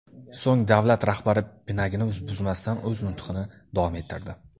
So‘ng davlat rahbari pinagini buzmasdan o‘z nutqini davom ettirdi.